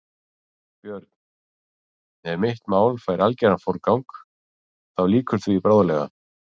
BJÖRN: Ef mitt mál fær algeran forgang, þá lýkur því bráðlega.